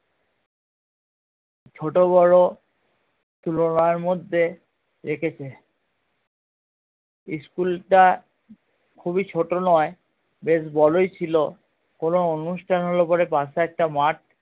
ছোট বড়ো তুলনার মধ্যে school টা খুবই ছোট নয় বেশ বড়ই ছিলো কোনো অনুষ্ঠান হলে পরে পাশে একটা মাঠ